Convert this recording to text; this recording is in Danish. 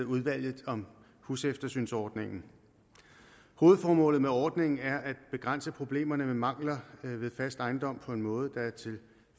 udvalget om huseftersynsordningen hovedformålet med ordningen er at begrænse problemerne med mangler ved fast ejendom på en måde der er til